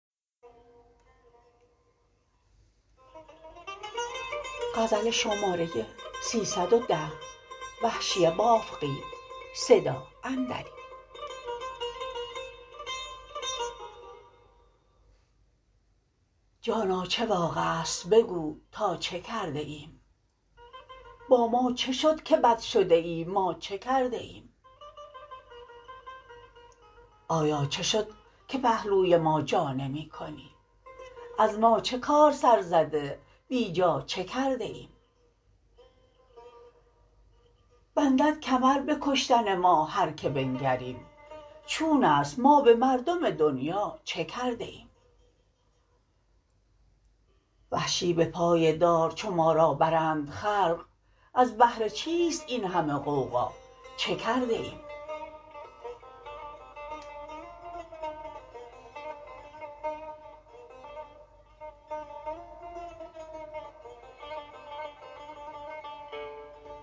جانا چه واقعست بگو تا چه کرده ایم با ما چه شد که بد شده ای ما چه کرده ایم آیا چه شد که پهلوی ما جا نمی کنی از ما چه کار سر زده بی جا چه کرده ایم بندد کمر به کشتن ما هرکه بنگریم چون است ما به مردم دنیا چه کرده ایم وحشی به پای دار چو ما را برند خلق از بهر چیست این همه غوغا چه کرده ایم